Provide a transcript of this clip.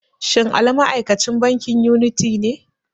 Shin Ali ma'aikacin bankin yuniti ne?